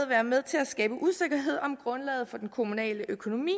været med til at skabe usikkerhed om grundlaget for den kommunale økonomi